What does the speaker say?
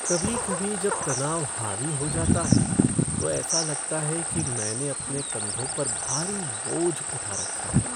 कभी कभी जब तनाव हावी हो जाता है, तो ऐसा लगता है कि मैं अपने कंधों पर भारी बोझ उठा रखा है।